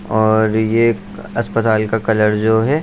और ये अस्पताल का कलर जो है --